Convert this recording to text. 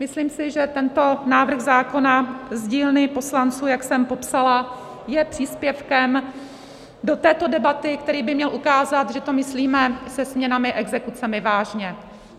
Myslím si, že tento návrh zákona z dílny poslanců, jak jsem popsala, je příspěvkem do této debaty, který by měl ukázat, že to myslíme se směnami (?), exekucemi, vážně.